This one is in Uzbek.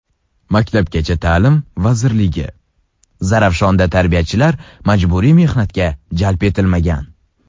Maktabgacha ta’lim vazirligi: Zarafshonda tarbiyachilar majburiy mehnatga jalb etilmagan.